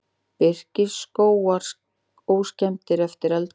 Birkiskógar óskemmdir eftir eldgosið